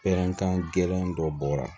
Pɛrɛnkan gɛlɛn dɔ bɔra